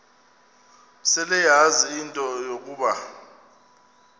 seleyazi into yokuba